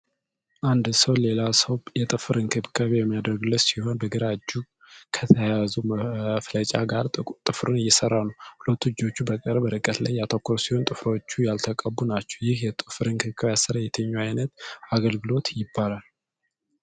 አንድ ሰው ሌላ ሰው የጥፍር እንክብካቤ የሚያደርግለት ሲሆን፣ በግራ እጅ ከተያዘው መፍለጫ ጋር ጥፍሩን እየሠራ ነው። ሁለቱም እጆች በቅርብ ርቀት ላይ ያተኮሩ ሲሆን፣ ጥፍሮቹ ያልተቀቡ ናቸው። ይህ የጥፍር እንክብካቤ አሰራር የትኛው ዓይነት አገልግሎት ይባላል?